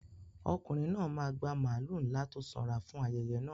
Ọkùnrin náà máa gba màlúù ńlá tó sanra fún ayẹyẹ náà.